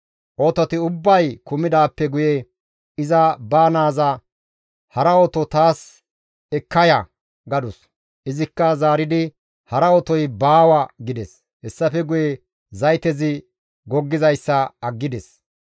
Ototi ubbay kumidaappe guye iza ba naaza, «Hara oto taas ekka ya!» gadus. Izikka zaaridi, «Hara otoy baawa» gides; hessafe guye zaytezi goggizayssa aggides.